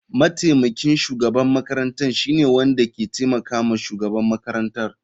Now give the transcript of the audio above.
Mataimakin shugaban makarantar shine wanda ke taimakawa shugaban makarantar.